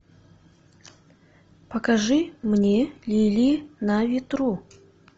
покажи мне линии на ветру